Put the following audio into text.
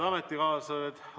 Head ametikaaslased!